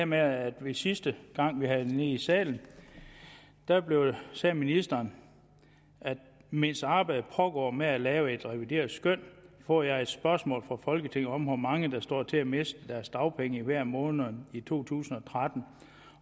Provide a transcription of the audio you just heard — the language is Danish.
med at sidste gang vi havde det i salen sagde ministeren mens arbejdet pågår med at lave et revideret skøn får jeg et spørgsmål fra folketinget om hvor mange der står til at miste deres dagpenge i hver af månederne i to tusind og tretten